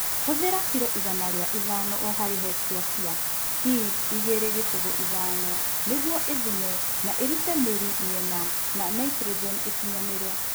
Huthĩra kilo igana rĩa ĩtano o harĩ hektĩa cia P205 nĩguo ĩthune na ĩrute mĩrita mĩena na naitrogeni ĩkinyanĩre